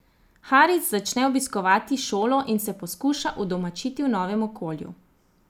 Haris začne obiskovati šolo in se poskuša udomačiti v novem okolju.